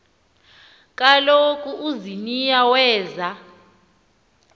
kaloku uziniya weza